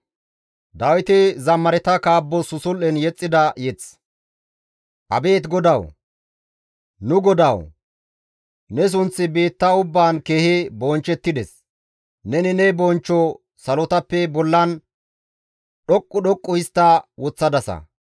Abeet GODAWU! Nu Godawu ne sunththi biitta ubbaan keehi bonchchettides; neni ne bonchcho salotappe bollan dhoqqu dhoqqu histta woththadasa.